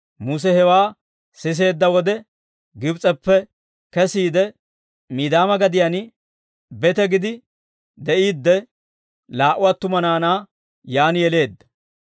Muse hewaa siseedda wode Gibs'eppe kesiide, Midiyaama gadiyaan bete gidi de'iidde, laa"u attuma naanaa yaan yeleedda.